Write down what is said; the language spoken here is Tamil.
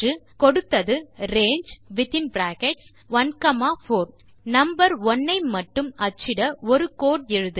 கொடுத்தது ரங்கே நம்பர் 1 ஐ மட்டும் அச்சிட ஒரு கோடு எழுதுக